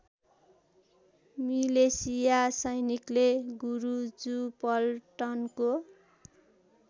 मिलेसिया सैनिकले गुरुजुपल्टनको